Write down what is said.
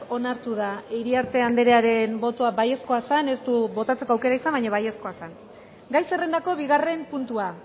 onartu da iriarte andrearen botoa baiezkoa zen ez du botatzeko aukera izan baina baiezkoa zen gai zerrendako bigarren puntua